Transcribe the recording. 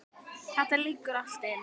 Þetta liggur allt inni